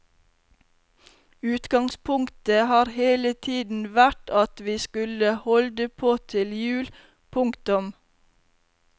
Utgangspunktet har hele tiden vært at vi skulle holde på til jul. punktum